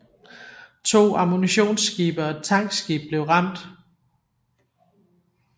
To ammunitionsskibe og et tankskib blev ramt